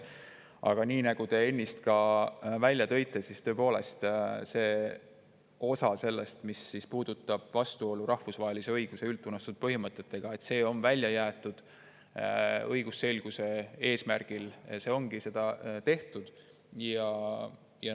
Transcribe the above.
Aga nagu te ennist ka välja tõite, siis tõepoolest, see osa sellest, mis puudutab vastuolu rahvusvahelise õiguse üldtunnustatud põhimõtetega, on välja jäetud õigusselguse eesmärgil, seda ongi tehtud.